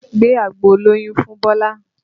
Gbé agbo olóyún fún Bọlá!